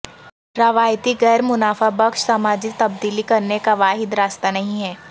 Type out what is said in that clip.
روایتی غیر منافع بخش سماجی تبدیلی کرنے کا واحد راستہ نہیں ہے